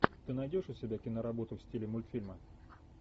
ты найдешь у себя киноработу в стиле мультфильма